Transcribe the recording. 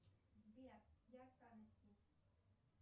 сбер я останусь здесь